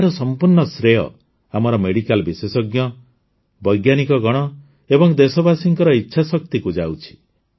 ଏହାର ସମ୍ପୂର୍ଣ୍ଣ ଶ୍ରେୟ ଆମର ମେଡିକାଲ ବିଶେଷଜ୍ଞ ବୈଜ୍ଞାନିକଗଣ ଏବଂ ଦେଶବାସୀଙ୍କ ଇଚ୍ଛାଶକ୍ତିକୁ ଯାଉଛି